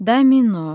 Domino.